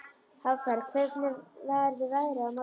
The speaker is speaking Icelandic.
Hafberg, hvernig verður veðrið á morgun?